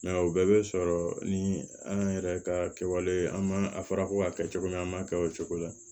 o bɛɛ bɛ sɔrɔ ni an yɛrɛ ka kɛwale ye an ma a fɔra ko k'a kɛ cogo min na an man kɛ o cogo la